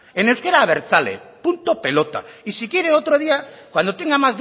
en euskera abertzale punto pelota y si quiere otro día cuando tenga